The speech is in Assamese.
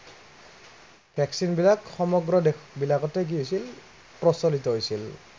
vaccine বিলাক সমগ্ৰ দেশ বিলাকতেই কি হৈছিল, প্ৰচলিত হৈছিল।